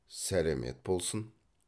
сәлемет болсын